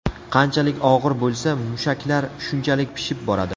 Qanchalik og‘ir bo‘lsa, mushaklar shunchalik pishib boradi.